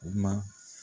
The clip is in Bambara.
Kuma